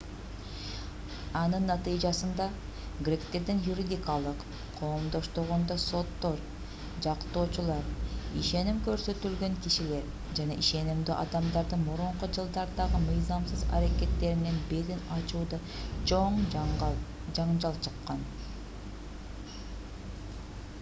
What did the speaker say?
анын натыйжасында гректердин юридикалык коомдоштугунда соттор жактоочулар ишеним көрсөтүлгөн кишилер жана ишенимдүү адамдардын мурунку жылдардагы мыйзамсыз аракеттеринин бетин ачууда чоң жаңжал чыккан